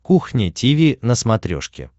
кухня тиви на смотрешке